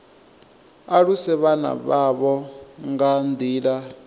aluse vhana vhavho nga nḓila